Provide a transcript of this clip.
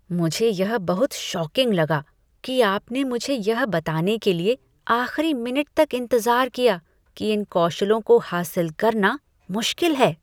मुझे यह बहुत शॉकिंग लगा कि आपने मुझे यह बताने के लिए आख़िरी मिनट तक इंतजार किया कि इन कौशलों को हासिल करना मुश्किल है।